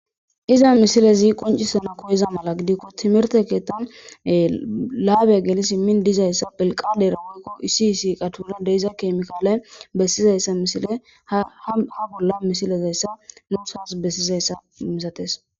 iza misilezi qoncisana koyeza mala gidikko timerte keettan laabe gelis min dizayssa pelqaade raunikko isiisi qatona deeiza keemikaala bessizayssa misile ha bolla misilezayssa muthas bessizayssa misates